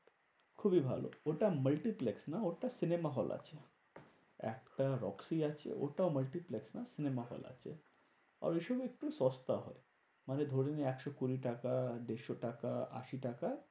খুবই ভালো ওটা multiplex না ওটা cinema hall আছে। একটা রক্সি আছে, ওটা multiplex না cinema hall আছে। আর ওই সময় একটু সস্তা হয়। মানে ধরে নে একশো কুড়ি টাকা, দেড়শো টাকা, আশি টাকা,